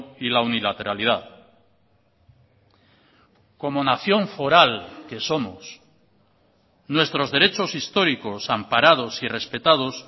y la unilateralidad como nación foral que somos nuestros derechos históricos amparados y respetados